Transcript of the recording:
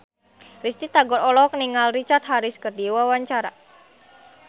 Risty Tagor olohok ningali Richard Harris keur diwawancara